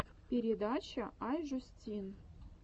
передача ай жюстин